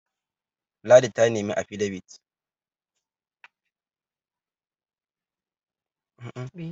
ladi ta nemi afidabit?